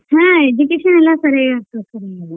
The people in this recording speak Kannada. ಹ್ಞೂ education ಎಲ್ಲಾ ಸಾರಿಯಾಗ್ ಕೊಡ್ತಾರಿ ಇಲ್ಲೆ.